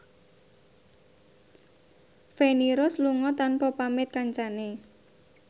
Feni Rose lunga tanpa pamit kancane